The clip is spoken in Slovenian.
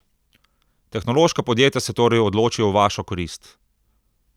Tehnološka podjetja se torej odločijo v vašo korist.